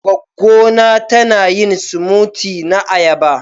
Gwaggo na ta na yin " smoothie " na ayaba.